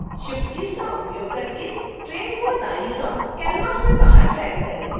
shift keys का उपयोग करके ट्रेन को दायीं ओर canvas से बाहर ड्रैग करें